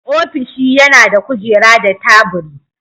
Ofishi yana da kujera da taburi.